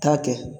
Taa kɛ